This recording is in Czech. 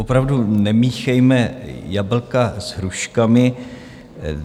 Opravdu nemíchejme jablka s hruškami.